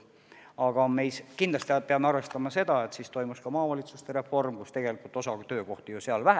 Aga me kindlasti peame arvestama seda, et siis toimus ka maavalitsuste reform, mille käigus töökohti vähemaks jäi.